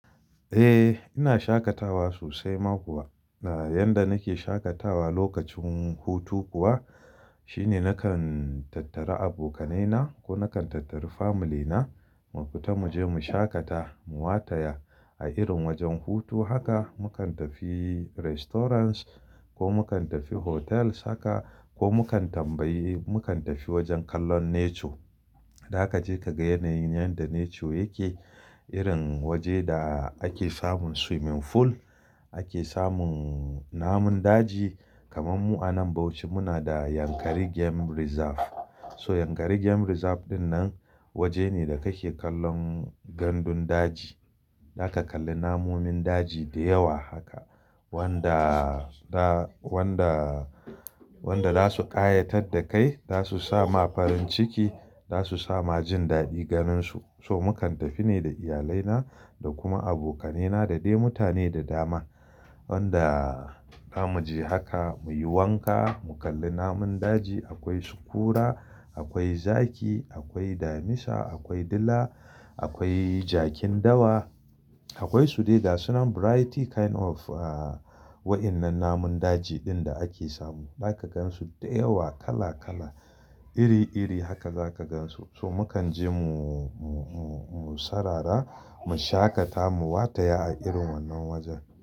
Eh, ina shaƙatawa sosai ma kuwa. Yanda nake shaƙatawa lokacin hutu kuwa shine nakan tattara abokanai na ko nakan tattara iyali na mu fita muje mu shaƙata, mu wataya a irin wajen hutu haka. Mukan tafi gidajen cin abinci ko mukan tafi otal otal haka ko mukan tambayi, mu kan tafi wajen kallon yanayi. Za kaje ka ga yanayin yanda yake, irin waje da ake samun swimming pool, ake samun namun daji. Kaman mu anan Bauchi muna da Yankari Game Reserve. So Yankari Game Reserve dinnan waje ne da kake kallon gandun daji. Zaka kalli namomin daji da yawa haka wanda, wanda zasu kayatar da kai, zasu sa ma farin ciki, zasu sa ma jin dadi ganin su. So mukan tafi ne da iyalai na da kuma abokanai na da dai mutane da dama wanda zamuje haka muyi wanka, mu kalli namun daji. Akwai sukura, akwai zaki, akwai damisa, akwai dila, akwai jakin dawa, akwai su dai dasu nan iri iri wa'innan namun daji din da ake samu. Zaka gansu da yawa kala kala iri iri haka zaka gansu. So mukan je mu, sarara, mu shaƙata, mu wataya a irin wannan wajan.